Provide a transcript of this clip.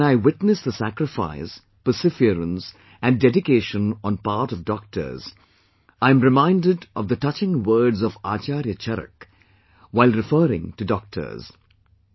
Today when I witness the sacrifice, perseverance and dedication on part of doctors, I am reminded of the touching words of Acharya Charak while referring to doctors